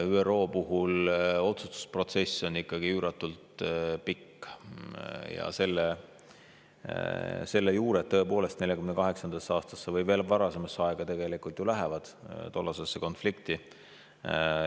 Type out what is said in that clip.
ÜRO puhul on otsustusprotsess üüratult pikk ja selle juured, tõepoolest, ulatuvad 1948. aastasse või tegelikult veel varasemasse aega, tollasesse konflikti.